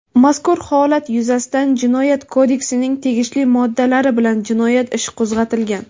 Mazkur holat yuzasidan Jinoyat kodeksining tegishli moddalari bilan jinoyat ishi qo‘zg‘atilgan.